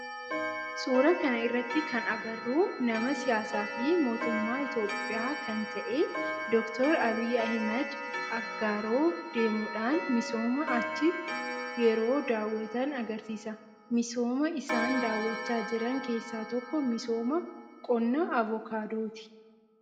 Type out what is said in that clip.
suuraa kana irratti kan agarru nama siyaasaa fi mootummaa Itiyoophiyaa kan ta'e Dr. Abiyyi Ahimeed Aggaaroo deemudhan misooma achii yeroo daawwatan agarsiisa. Misooma isaan daawachaa jiran keessaa tokko misooma qonnaa avokaadooti.